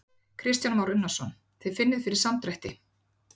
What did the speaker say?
Kristján Már Unnarsson: Þið finnið fyrir samdrætti?